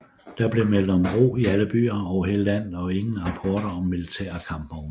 Der blev meldt om ro i alle byer over hele landet og ingen rapporter om militære kampvogne